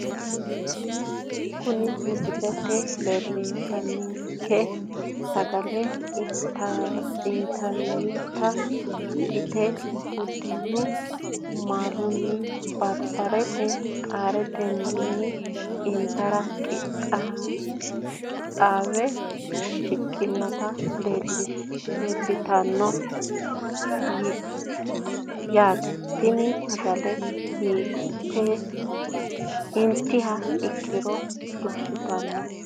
Kuni misilete leelanonkerichi sagale intayita ikite budeenu maaluni barbareteni qaareteni intara qixaawe shiqinoti leelitani no yaate tini sagaleno intiha ikiro duushitano.